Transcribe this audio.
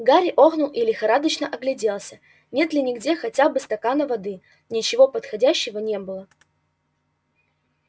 гарри охнул и лихорадочно огляделся нет ли где хотя бы стакана воды ничего подходящего не было